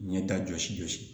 Ɲɛ ta jɔsi jɔsi